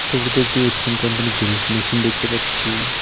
ছবিটিতে একটি এপসন কোম্পানির জেরক্স মেশিন দেখতে পাচ্ছি।